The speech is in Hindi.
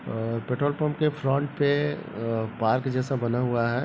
अ पेट्रोल पंप के फ्रंट पे अ पार्क जैसा बना हुआ है।